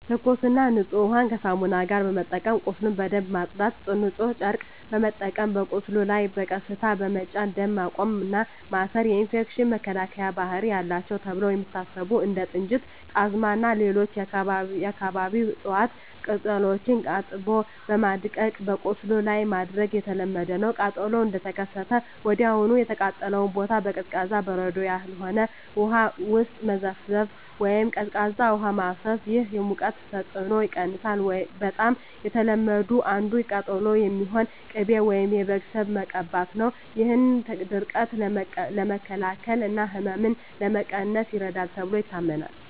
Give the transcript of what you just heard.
ትኩስና ንጹህ ውሃን ከሳሙና ጋር በመጠቀም ቁስሉን በደንብ ማጽዳት። ንጹህ ጨርቅ በመጠቀም በቁስሉ ላይ በቀስታ በመጫን ደም ማቆም እና ማሰር። የኢንፌክሽን መከላከያ ባህሪ አላቸው ተብለው የሚታሰቡ እንደ ጥንጁት፣ ጣዝማ ወይም ሌሎች የአካባቢው እፅዋት ቅጠሎችን አጥቦ በማድቀቅ በቁስሉ ላይ ማድረግ የተለመደ ነው። ቃጠሎው እንደተከሰተ ወዲያውኑ የተቃጠለውን ቦታ በቀዝቃዛ (በበረዶ ያልሆነ) ውሃ ውስጥ መዘፍዘፍ ወይም ቀዝቃዛ ውሃ ማፍሰስ። ይህ የሙቀቱን ተጽዕኖ ይቀንሳል። በጣም ከተለመዱት አንዱ ለቃጠሎ የሚሆን ቅቤ ወይም የበግ ስብ መቀባት ነው። ይህ ድርቀትን ለመከላከል እና ህመምን ለመቀነስ ይረዳል ተብሎ ይታመናል።